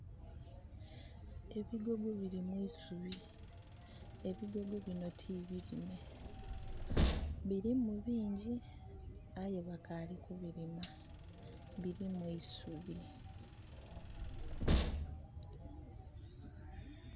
Ebigogo birimu isubi. Ebigogo bino tibirime. Birimu bingi aye bakaali kubirima. Birimu eisubi.